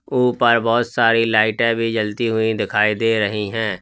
ऊपर बहोत सारी लाइटे भी जलती हुई दिखाई दे रही हैं।